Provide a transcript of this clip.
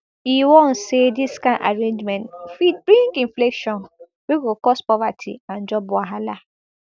e warn say dis kind arrangement fit bring inflation wey go cause poverty and job wahala